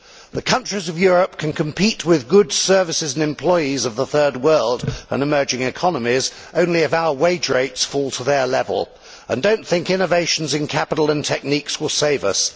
The countries of Europe can only compete with the goods, services and employees of the Third World and emerging economies if our wage rates fall to their level and do not think innovations in capital and techniques will save us.